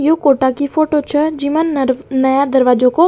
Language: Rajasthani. यो कोटा की फोटो छ जिमा नया दरवाजो को --